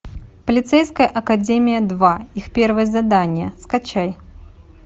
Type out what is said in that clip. полицейская академия два их первое задание скачай